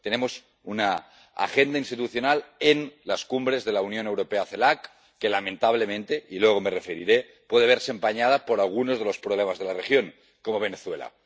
Tenemos una agenda institucional en las cumbres de la Unión Europea CELAC que, lamentablemente —y luego me referiré a ello—, puede verse empañada por algunos de los problemas de la región, como Venezuela.